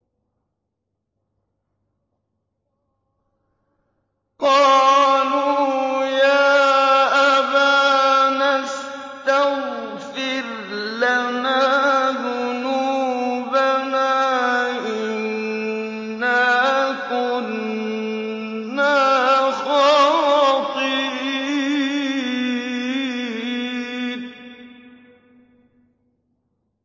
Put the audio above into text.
قَالُوا يَا أَبَانَا اسْتَغْفِرْ لَنَا ذُنُوبَنَا إِنَّا كُنَّا خَاطِئِينَ